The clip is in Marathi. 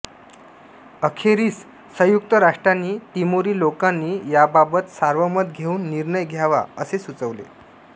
अखेरीस संयुक्त राष्ट्रांनी तिमोरी लोकांनी याबाबत सार्वमत घेऊन निर्णय घ्यावा असे सुचवले